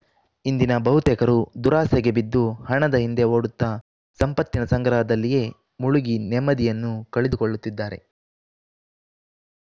ಇಂದಿನ ಬಹುತೇಕರು ದುರಾಸೆಗೆ ಬಿದ್ದು ಹಣದ ಹಿಂದೆ ಓಡುತ್ತ ಸಂಪತ್ತಿನ ಸಂಗ್ರಹದಲ್ಲಿಯೇ ಮುಳುಗಿ ನೆಮ್ಮದಿಯನ್ನು ಕಳೆದುಕೊಳ್ಳುತ್ತಿದ್ದಾರೆ